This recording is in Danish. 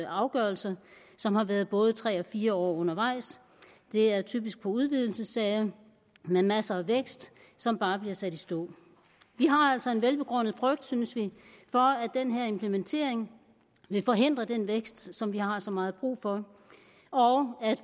afgørelser som har været både tre og fire år undervejs det er typisk udvidelsessager med masser af vækst som bare bliver sat i stå vi har altså en velbegrundet frygt synes vi for at den her implementering vil forhindre den vækst som vi har så meget brug for og at